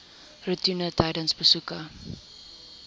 roetine tydens besoeke